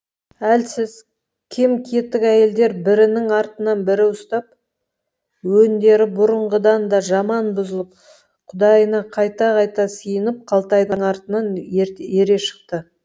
әлсіз кем кетік әйелдер бірінің артынан бірі ұстап өңдері бұрынғыдан да жаман бұзылып құдайына қайта қайта сиынып қалтайдың артынан ере шықты